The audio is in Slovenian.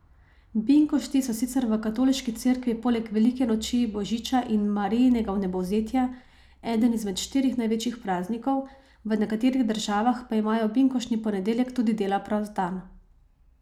Binkošti so sicer v Katoliški cerkvi poleg velike noči, božiča in Marijinega vnebovzetja eden izmed štirih največjih praznikov, v nekaterih državah pa imajo na binkoštni ponedeljek tudi dela prost dan.